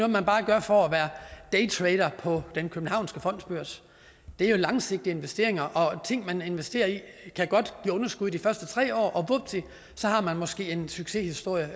man bare gør for at være daytrader på den københavnske fondsbørs det er jo langsigtede investeringer og ting man investerer i kan godt give underskud de første tre år og vupti så har man måske en succeshistorie